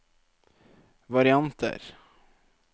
varianter